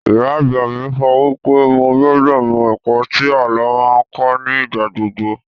Ìyá àgbà mi sọ wípé mo gbúdọ̀ mọ ẹ̀kọ́ tí àlọ́ máa ń kọ́ ní ìgbàgbogbo